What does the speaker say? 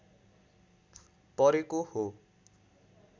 परेको हो